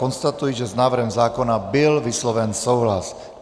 Konstatuji, že s návrhem zákona byl vysloven souhlas.